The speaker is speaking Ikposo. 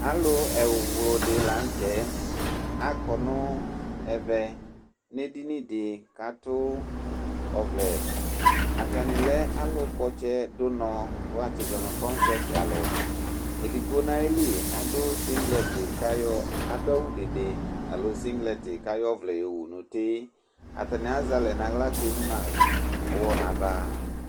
Alu ɛwlʋdɩ la nʋ tɛ akɔ nʋ edini dɩ kʋ atu ɔvlɛ Atani lɛ alukpɔ ɔtsɛ, du ʋnɔ kʋ wu atsizɔ nʋ kɔŋsɛtɩ alu Edigbo nʋ ayili adu awudede alo sɩŋglɛtɩ, kʋ ayɔ ɔvlɛ yo wu nʋ uti Atani azɛ alɛ nʋ aɣla kʋ emu nʋ ʋwɔ nʋ ava